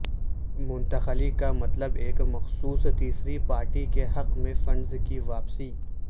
منتقلی کا مطلب ایک مخصوص تیسری پارٹی کے حق میں فنڈز کی واپسی